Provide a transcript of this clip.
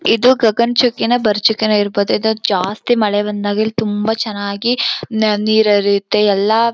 ಇದು ಗಗನಚುಕ್ಕಿನೋ ಭರಚುಕ್ಕಿನೋ ಇರಬಹುದು ಇದಕ್ ಜಾಸ್ತಿ ಮಳೆ ಬಂದಾಗ ಇಲ್ಲಿ ತುಂಬಾ ಚೆನ್ನಾಗಿ ನೀರು ಹರಿಯುತ್ತೆ ಎಲ್ಲಾ--